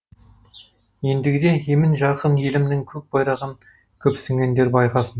ендігіде емен жарқын елімнің көк байрағын көпсінгендер байқасын